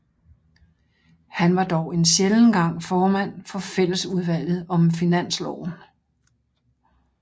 Han var dog en sjælden gang formand for fællesudvalget om finansloven